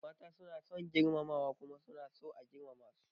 Mata suna son girmamawa kuma suna so a girmama su.